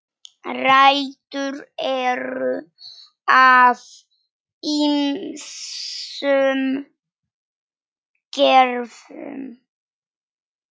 Rætur eru af ýmsum gerðum